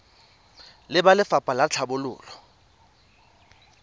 le ba lefapha la tlhabololo